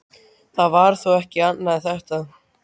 Það var þá ekki annað en þetta!